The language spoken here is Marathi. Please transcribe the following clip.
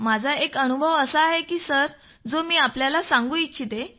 माझा एक अनुभव आहे सर जो मी आपल्याला सांगू इच्छितो